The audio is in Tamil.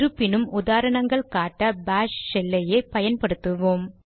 இருப்பினும் உதாரணங்கள் காட்ட பாஷ் ஷெல்லையே பயன்படுத்துவோம்